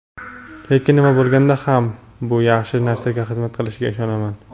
lekin nima bo‘lganda ham bu yaxshi narsaga xizmat qilishiga ishonaman.